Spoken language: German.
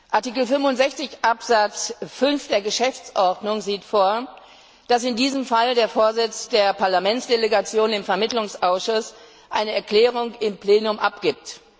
Artikel 65 Absatz 5 der Geschäftsordnung sieht vor, dass in diesem Fall der Vorsitz der Parlamentsdelegation im Vermittlungsausschuss eine Erklärung im Plenum abgibt.